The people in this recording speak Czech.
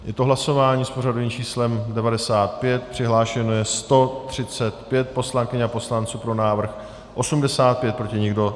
Je to hlasování s pořadovým číslem 95, přihlášeno je 135 poslankyň a poslanců, pro návrh 85, proti nikdo.